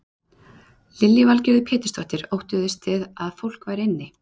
Lillý Valgerður Pétursdóttir: Óttuðust þið að það væri fólk inni?